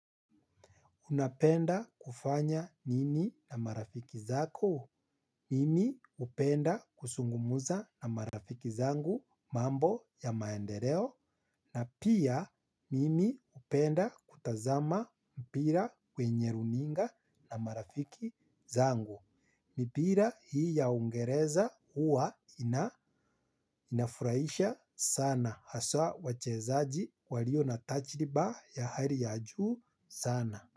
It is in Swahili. Unapenda kufanya nini na marafiki zako? Mimi hupenda kusungumza na marafiki zangu mambo ya maendeleo. Na pia, mimi hupenda kutazama mpira kwenye runinga na marafiki zangu. Mipira hii ya uingereza huwa inafuraisha sana. Haswa wachezaji walio na tachriba ya hali ya juu sana.